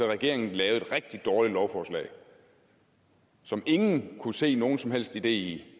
regeringen lavede et rigtig dårligt lovforslag som ingen kunne se nogen som helst idé i